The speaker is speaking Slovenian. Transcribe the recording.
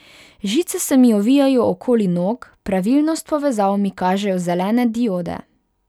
Žice se mi ovijajo okoli nog, pravilnost povezav mi kažejo zelene diode.